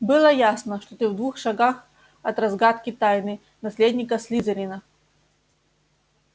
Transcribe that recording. было ясно что ты в двух шагах от разгадки тайны наследника слизерина